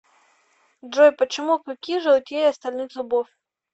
джой почему клыки желтее остальных зубов